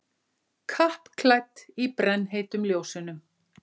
Kappklædd í brennheitum ljósunum.